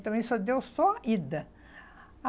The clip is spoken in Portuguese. Mas também só deu só ida.